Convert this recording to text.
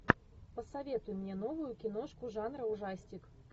посоветуй мне новую киношку жанра ужастик